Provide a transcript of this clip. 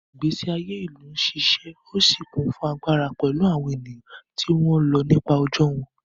Ìgbésí ayé ìlú ń ṣiṣẹ́ ó sì kún fún agbára pẹ̀lú àwọn ènìyàn tí wọ́n ń lọ nípa ọjọ́ wọn.